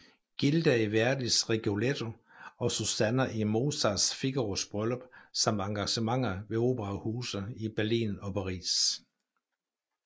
Gilda i Verdis Rigoletto og Susanna i Mozarts Figaros Bryllup samt engagementer ved operahuse i Berlin og Paris